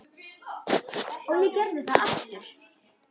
Og ég gerði það aftur.